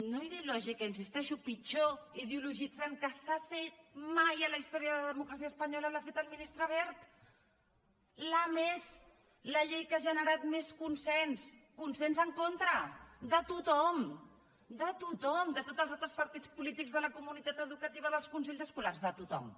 no ideològica hi insisteixo pitjor ideologitzant que s’ha fet mai en la història de la democràcia espanyola l’ha fet el ministre wert la que més la llei que ha generat més consens consens en contra de tothom de tothom de tots els altres partits polítics de la comunitat educativa dels consells escolars de tothom